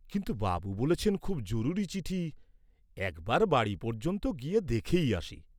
কিন্তু বাবু বলেছেন, খুব জরুরি চিঠি। একবার বাড়ি পর্যন্ত গিয়ে দেখেই আসি।